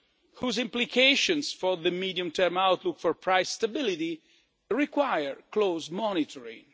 whose implications for the medium term outlook for price stability require close monitoring.